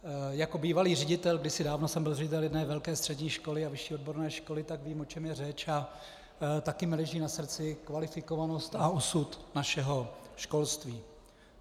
Jako bývalý ředitel, kdysi dávno jsem byl ředitel jedné velké střední školy a vyšší odborné školy, tak vím, o čem je řeč, a taky mi leží na srdci kvalifikovanost a osud našeho školství.